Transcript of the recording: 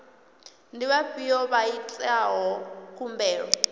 ndi vhafhiyo vha itaho khumbelo